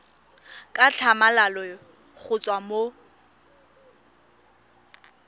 ka tlhamalalo go tswa mo